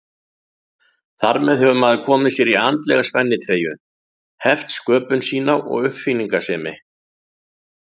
Þar með hefur maður komið sér í andlega spennitreyju, heft sköpun sína og uppáfinningasemi.